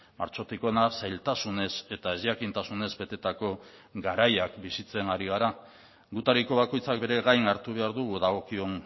martxotik hona zailtasunez eta ezjakintasunez betetako garaiak bizitzen ari gara gutariko bakoitzak bere gain hartu behar dugu dagokion